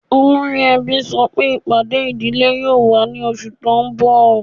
Ọlọ́ri èbí sọ́ pé ipádé idílé yóò wà ní ọṣù tí n bọ̀.